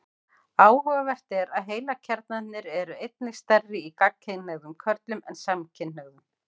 Áhugavert er að heilakjarnarnir eru einnig stærri í gagnkynhneigðum körlum en samkynhneigðum.